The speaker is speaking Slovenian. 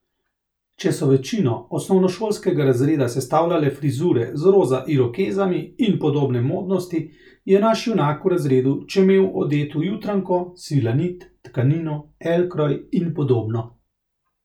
Če so večino osnovnošolskega razreda sestavljale frizure z roza irokezami in podobne modnosti, je naš junak v razredu čemel odet v Jutranjko, Svilanit, Tkanino, Elkroj in podobno.